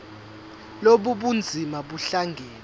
lobu bunzima buhlangane